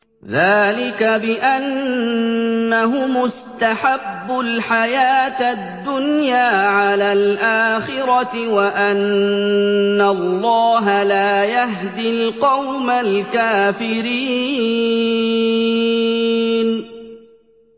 ذَٰلِكَ بِأَنَّهُمُ اسْتَحَبُّوا الْحَيَاةَ الدُّنْيَا عَلَى الْآخِرَةِ وَأَنَّ اللَّهَ لَا يَهْدِي الْقَوْمَ الْكَافِرِينَ